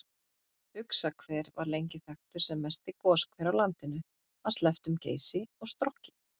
Uxahver var lengi þekktur sem mesti goshver á landinu að slepptum Geysi og Strokki.